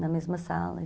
Na mesma sala.